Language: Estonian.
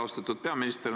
Austatud peaminister!